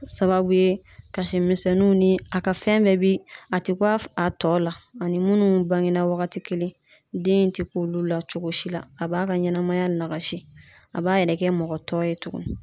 Sababu ye kasi misɛnninw ni a ka fɛn bɛɛ bi a tɛ ku a tɔw la ani munnu bange na wagati kelen den in tɛ ku olu la cogo si la a b'a ka ɲɛnɛmaya nagasi a b'a yɛrɛ kɛ mɔgɔ tɔ ye tuguni.